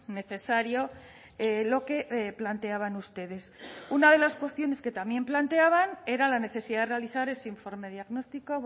necesario lo que planteaban ustedes una de las cuestiones que también planteaban era la necesidad de realizar ese informe diagnóstico